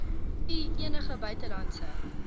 u enige buitelandse